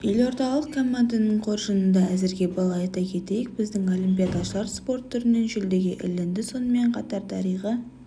елордалық команданың қоржынында әзірге балл айта кететйік біздің олимпиадашылар спорт түрінен жүлдеге ілінді сонымен қатар дариға